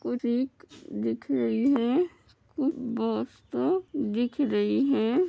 कुछ दिख रई है | कुछ बास्ता दिख रई है |